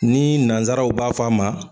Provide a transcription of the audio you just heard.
Nii nanzaraw b'a f'a ma